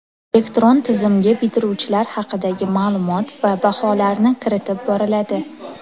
Elektron tizimga bitiruvchilar haqidagi ma’lumot va baholarni kiritib boriladi.